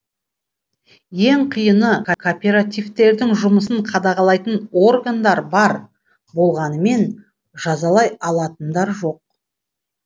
ең қиыны кооперативтердің жұмысын қадағалайтын органдар бар болғанымен жазалай алатындар жоқ